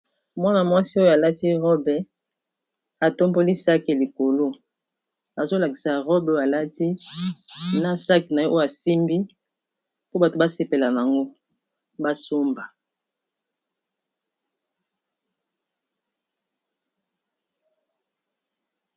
Mwana-mwasi oyo alati robe atomboli sakosh likolo azolakisa robe oyo alati na sakosh na ye oyo asimbi mpo bato basepela nango basomba.